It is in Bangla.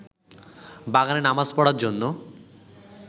বাগানে নামাজ পড়ার জন্য